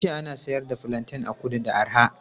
An ce ana siyar da fulanten a kudu da arha.